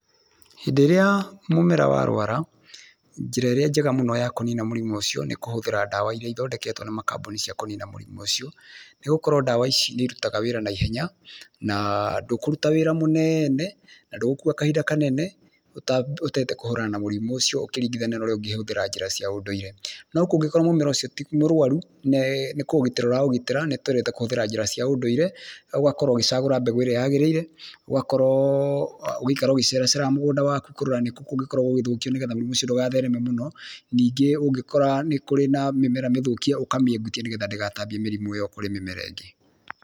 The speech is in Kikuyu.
Hĩndĩ ĩrĩa mũmera warwara, njĩra ĩrĩa njega mũno ya kũnina mũrimũ ũcio nĩ kũhũthĩra dawa iria ithondeketwo nĩ makambuni cia kũnina mũrimũ ũcio, nĩgũkorwo dawa ici nĩirutaga wĩra na ihenya naa ndũkũruta wĩra mũneene na ndũgũkua kahinda kanene ũta ũtahotete kũhũrana na mũrimũ ũcio ũkĩringithanio norĩa ũngĩhũthĩra njĩra cia ũndũire, no kũngĩkorwo mũmera ũcio ti mũrũaru nĩ nĩ kũũgitira ũra ũgitĩra nĩtwendete kũhũthĩra njĩra cia ũndũire ũgakorwo ũgĩcagũra mbeũ ĩrĩa yagĩrĩire ũgakorwoo ũgĩikara ũgĩcera ceraga mũgũnda waku kũrora nĩkũ kũngĩkorwo gũgĩthũkio nĩgetha mũrimũ ũcio ndũgathereme mũno, ningĩ ũngĩkora nĩ kũrĩ na mĩmera mĩthũkie ũkamĩehutia nĩgetha ndĩgatambie mĩrimũ ĩyo kwĩ mĩmera ĩngĩ.